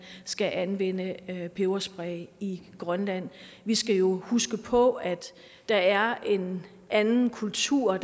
skal anvende peberspray i i grønland vi skal jo huske på at der er en anden kultur og